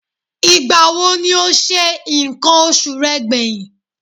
Ìgbà wo ni o se nǹkan oṣù rẹ gbẹ̀yìn?